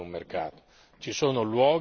Non siamo davanti ad un mercato.